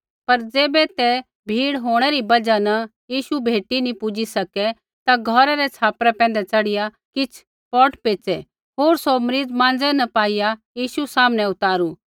पर ज़ैबै ते भीड़ होंणै री बजहा न यीशु भेटी नी पुजी सकै ता घौरै रै छ़ापरा पैंधै च़ढ़िया किछ़ पौट पेच़ै होर सौ मरीज़ माँज़ै न पाईआ यीशु सामनै उतारू